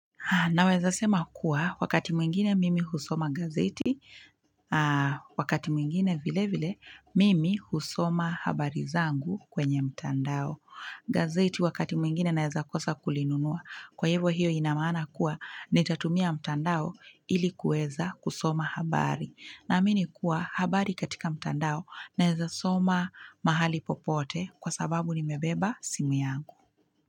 Naweza sema kuwa, wakati mwingine mimi husoma gazeti, wakati mwingine vile vile, mimi husoma habari zangu kwenye mtandao. Gazeti wakati mwingine naweza kosa kulinunua. Kwa hivyo hiyo inamaana kuwa, nitatumia mtandao ilikuweza kusoma habari. Naamini kuwa habari katika mtandao naweza soma mahali popote kwa sababu nimebeba simu yangu.